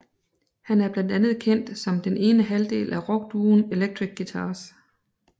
Han er blandt andet kendt som den ene halvdel af rockduoen Electric Guitars